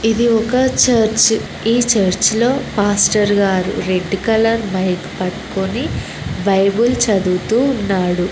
ఇది ఒక చర్చ్ ఈ చర్చ్ లో పాస్టర్ గారు రెడ్ కలర్ మైక్ పట్టుకుని బైబుల్ చదువుతూ ఉన్నాడు